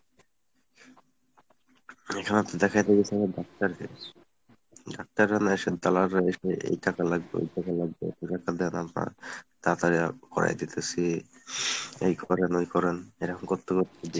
এখানে তো দেখাইতে গেছি ডাক্তারদের, ডাক্তাররা না এসে দালালরা এসে এই টাকা লাগবে ওই টাকা লাগবে তাড়াতাড়ি আহ করাই দিতেছি এই করেন ওই করেন এরম করতে করতে